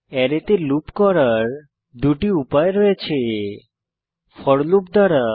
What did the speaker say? অ্যারেতে লুপ করার দুটি উপায় রয়েছে ফোর লুপ দ্বারা